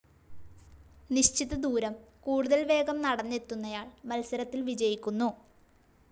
നിശ്ചിത ദൂരം കൂടുതൽ വേഗം നടന്നെത്തുന്നയാൾ മത്സരത്തിൽ വിജയിക്കുന്നു.